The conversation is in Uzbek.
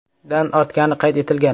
dan ortgani qayd etilgan.